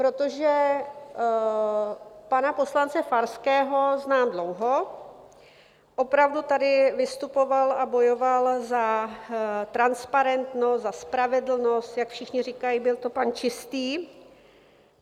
Protože pana poslance Farského znám dlouho, opravdu tady vystupoval a bojoval za transparentnost, za spravedlnost, jak všichni říkají, byl to pan Čistý.